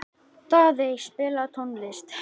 Daðey, spilaðu tónlist.